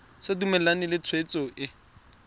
sa dumalane le tshwetso e